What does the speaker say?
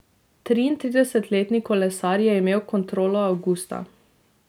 Triintridesetletni kolesar je imel kontrolo avgusta.